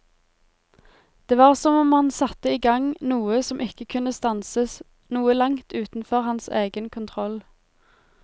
Det var som om han satte i gang noe som ikke kunne stanses, noe langt utenfor hans egen kontroll.